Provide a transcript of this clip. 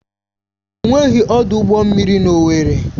Enweghị ọdụ ụgbọ mmiri na Owerri.